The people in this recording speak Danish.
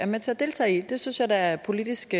med til at deltage i det synes jeg da er politisk